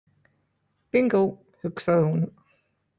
Bingó, hugsaði hún.